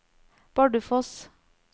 Bardufoss